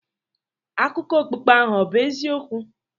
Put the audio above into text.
Akụkọ okpukpe ahụ ọ̀ bụ eziokwu?